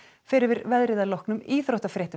fer yfir veðrið að loknum íþróttafréttum